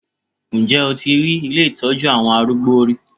Ǹjẹ́ o ti rí ilé ìtọ́jú àwọn arúgbó rí?